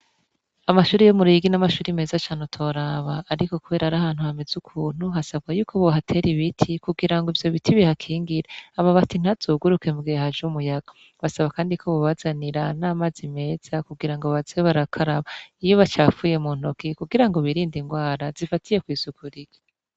Amashuri yo mu Ruyigi n'amashuri meza cane utoraba ariko kubera ari ahantu hameze ukuntu hasabwa yuko bohatera ibiti kugira ngo ivyo biti bihakingire amabati ntazoguruke mu gihe haje umuyaga, basaba kandi ko bobazanira n'amazi meza kugira ngo baze barakaraba iyo bacafuye mu ntoki kugira ngo birinde ingwara zifatiye kw'isuku rike.